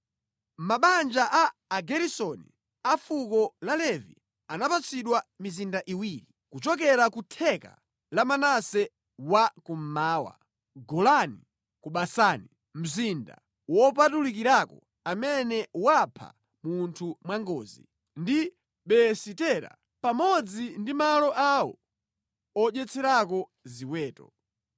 Mabanja a Ageresoni a fuko la Levi anapatsidwa mizinda iwiri kuchokera ku theka la Manase wa kummawa, Golani ku Basani (mzinda wopulumukirako amene wapha munthu mwangozi) ndi Beesitera, pamodzi ndi malo awo odyetserako ziweto.